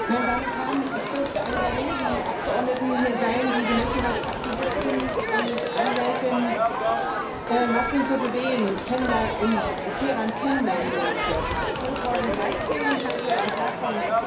Herr Präsident, meine Damen und Herren! Ich dürfte eine der wenigen Abgeordneten hier sein, die die Menschenrechtsaktivisten und Anwältin Nasrin Sotudeh in Teheran kennenlernen durfte 2013 nach ihrer Entlassung.